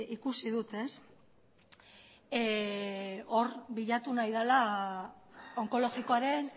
ikusi dut hor bilatu nahi dela onkologikoaren